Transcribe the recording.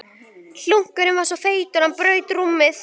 Bálkur þessi var botn rúmanna.